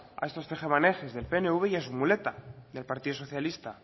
a estos tejemanejes del pnv y a su muleta el partido socialista